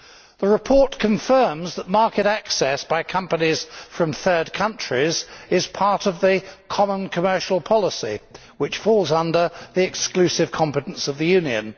The report confirms that market access by companies from third countries is part of the common commercial policy which falls under the exclusive competence of the Union.